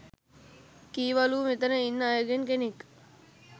කීවලු මෙතන ඉන්න අයගෙන් කෙනෙක්